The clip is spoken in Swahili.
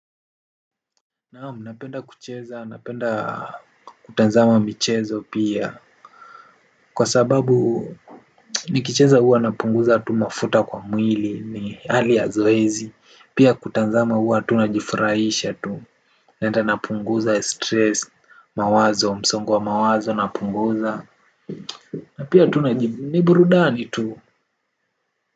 Naam napenda kucheza napenda kutazama michezo pia kwa sababu nikicheza huwa napunguza tu mafuta kwa mwili ni hali ya zoezi pia kutazama huwa tu najifurahisha tu nenda napunguza stress mawazo msongo wa mawazo napunguza na pia tu naji ni burudani tu.